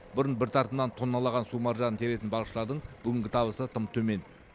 бұрын бір тартымнан тонналлаған су маржанын теретін балықшылардың бүгінгі табысы тым төмен